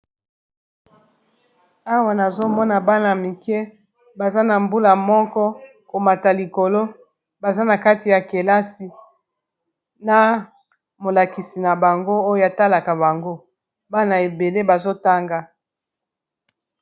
Awa nazomona bana mike baza na mbula moko komata likolo baza na kati ya kelasi, na molakisi na bango oyo etalaka bango bana ebele bazotanga.